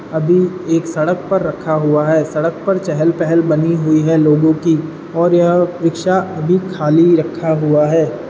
अभी एक सडक पर रखा हुआ है सडक पर चहल पहल बनी हुई है लोगो कि और यह रिक्शा अभी खाली रखा हुआ है।